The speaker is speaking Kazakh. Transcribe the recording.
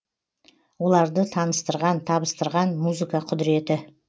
оларды таныстырған табыстырған музыка құдіреті